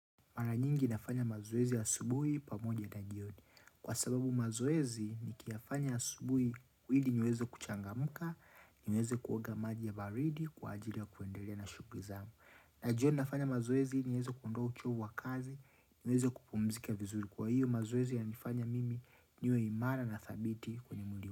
Mara nyingi nafanya mazoezi asubuhi pamoja na jioni. Kwa sababu mazoezi nikiyafanya asubuhi ili niweze kuchangamka, niweze kuoga maji ya baridi, kwa ajili ya kuendelea na shughuli zangu. Na jioni nafanya mazoezi niweze kuondoa uchovu wa kazi, niweze kupumzika vizuri. Kwa hiyo mazoezi yananifanya mimi niwe imara na dhabiti kwenye mwili.